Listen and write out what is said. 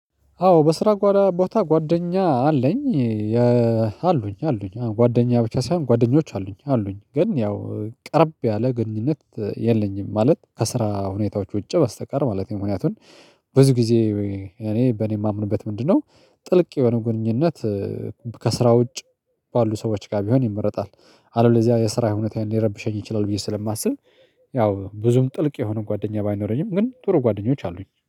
አዎ፤ በስራ ጓራ ቦታ ጓደኛ አለኝ። አሉኝ አሉኝ አዎ ጓደኛ ብቻ ሳይሆን ጓደኞች አሉኝ አሉኝ ግን ያው ቀረብ ያለ ግንኙነት የለኝም፤ ማለት ከስራ ሁኔታዎች ውጪ በስተቀር ማለቴ ነው፤ ምክንያቱን ብዙ ጊዜ እኔ በእኔ የማምንበት ምንድነው ጥልቅ የሆነ ግንኙነት ከስራ ውጭ ባሉ ሰዎች ጋር ቢሆን ይመረጣል። አለበለዚያ የስራ ሁኔታዬን ሊረብሸኝ ይችላል፤ ብዬ ስለማስብ ያው ብዙም ጥልቅ የሆነ ጓደኛ ባይኖረኝም፤ ግን ጥሩ ጓደኞች አሉኝ።